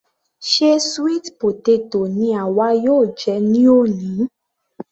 Ṣe sweet potato ni àwa yóò jẹ ní òní?